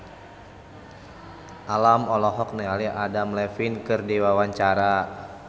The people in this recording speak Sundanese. Alam olohok ningali Adam Levine keur diwawancara